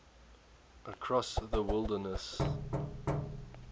across the wilderness